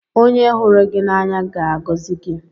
Onye hụrụ gị n'anya ga-agọzi gị.